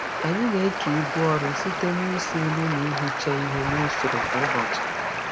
Anyị na-eke ibu ọrụ site n'isi nri na ihicha ihe n'usoro kwa ụbọchị.